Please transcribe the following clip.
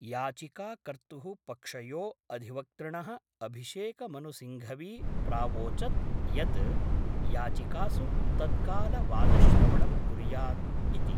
याचिका कर्तुः पक्षयो अधिवक्तृण: अभिषेकमनु सिंघवी प्रावोचत् यत् याचिकासु तत्काल वादश्रवणं कुर्यात् इति।